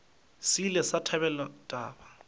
se ile sa thabela taba